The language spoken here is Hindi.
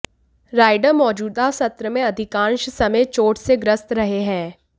राइडर मौजूदा सत्र में अधिकांश समय चोट से ग्रस्त रहे हैं